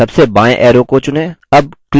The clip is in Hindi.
सबसे बायें arrow को चुनें